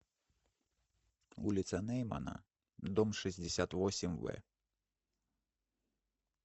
улица неймана дом шестьдесят восемь в